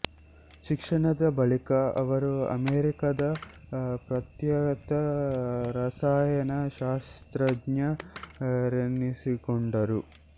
ಶಿಕ್ಷಣದ ಬಳಿಕ ಅವರು ಅಮೇರಿಕಾದ ಪ್ರಖ್ಯಾತ ರಸಾಯನ ಶಾಸ್ತ್ರಜ್ಞ ರೆನಿಸಿಕೊಂಡರು